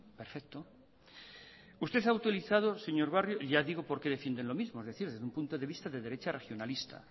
perfecto usted ha autorizado señor barrio ya digo porque defienden lo mismo es decir desde un punto de vista de derecha racionalista